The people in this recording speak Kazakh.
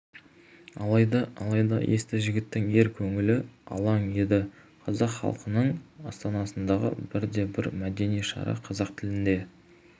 алайда алайда есті жігіттің ер көңілі алаң еді қазақ халқының астанасындағы бірде-бір мәдени шара қазақ тілінде